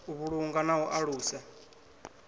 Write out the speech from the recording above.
u vhulunga na u alusa